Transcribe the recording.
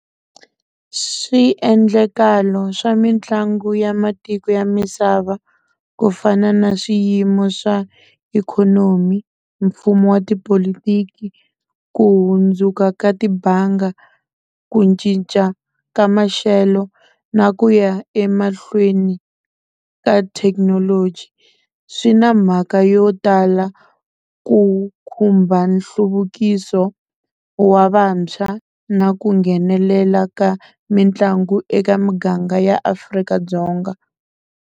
Swiendlakalo swa mitlangu ya matiko ya misava ku fana na swiyimo swa ikhonomi mfumo wa tipolotiki ku hundzuka ka tibanga ku cinca ka maxelo na ku ya emahlweni ka thekinoloji swi na mhaka yo tala ku khumba nhluvukiso wa vantshwa na ku nghenelela ka mitlangu eka muganga ya Afrika-Dzonga.